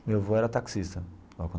Meu avô era taxista.